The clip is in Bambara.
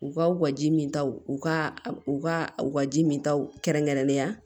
U ka u ka ji min taw u ka u ka u ka ji min taw kɛrɛnkɛrɛnnenya